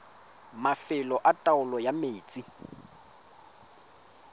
mafelo a taolo ya metsi